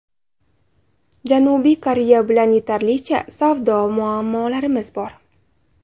Janubiy Koreya bilan yetarlicha savdo muammolarimiz bor.